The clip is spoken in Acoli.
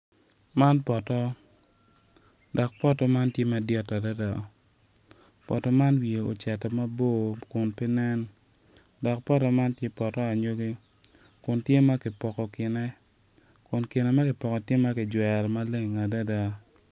Man poto dok poto man ti madit adada poto man wiye ocito mabor kun pe nen dok poto man ti poto anyogi kun tye ma kipoko kine kun kine ma kipoko-ni ti ma kicwero maleng adada